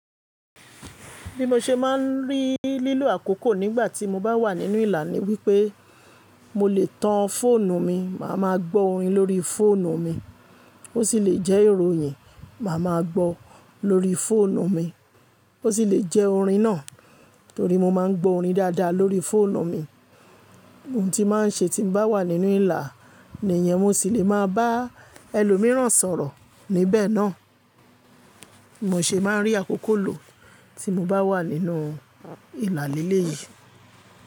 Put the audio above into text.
Bí mo ṣe máa ń rí lílo àkókò nígbà tí mo bá wà nínú ìlà ni wípé mo lè tan fóònù mi, màá ma gbó orin lórí fóònù mi, ó sì le jẹ́ ìròyìn màá ma gbó lórí fóònù mi, ó sì le jẹ́ orin náà torí mo máa ń gbó orin dáadáa lórí fóònù mi. Ohun tí màá ń ṣe tí mo bá wà nínú ìlà ní ìyẹn mo sì le máa bá ẹlòmíràn sọ̀rọ̀ níbẹ̀ náà. Mo ṣe máa ń rí akokò lò ti mo bá wà nínú ìlà líle yìí.